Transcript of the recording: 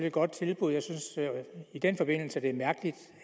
et godt tilbud jeg synes i den forbindelse det er mærkeligt